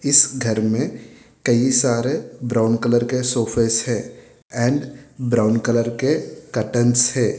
इस घर में कई सारे ब्राउन कलर के सोफेस है एन्ड ब्राउन कलर के कर्टन्स है।